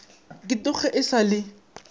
ke tloge e sa le